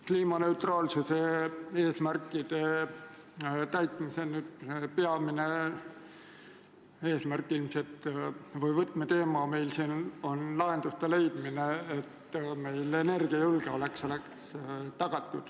Kliimaneutraalsuse eesmärkide täitmise peamine võtmeteema on meil siin leida lahendused, kuidas oleks tagatud riigi energiajulgeolek.